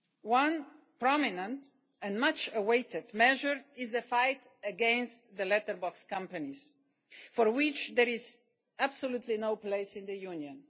One prominent and much awaited measure is the fight against letterbox companies, for which there is absolutely no place in the Union.